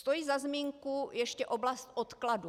Stojí za zmínku ještě oblast odkladů.